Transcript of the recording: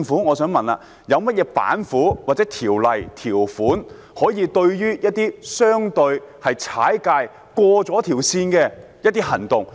我想問政府有何"板斧"，或條例、條款可以對付一些相對"踩界"、過了底線的行為？